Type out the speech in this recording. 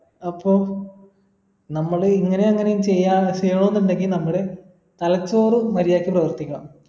അപ്പം നമ്മള് ഇങ്ങനങ്ങനെ ചെയ്യാ ചെയ്യണോന്നുണ്ടെങ്കി നമ്മൾ തലചോറും മര്യാദക്ക് പ്രവർത്തിക്കണം